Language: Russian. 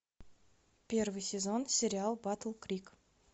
первый сезон сериал батл крик